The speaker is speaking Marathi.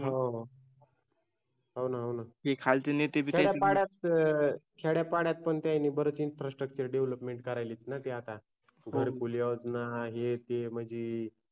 हो हो ना होना खेड्यापाड्यात पण भरपूर INFRASTRUCTURE DEVELOPMENT करायलेत ना ते आता घरकुल योजन हे ते म्हंजी